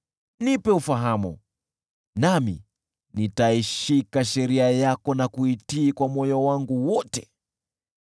Nipe ufahamu, nami nitaishika sheria yako na kuitii kwa moyo wangu wote.